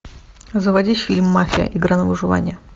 заводи фильм мафия игра на выживание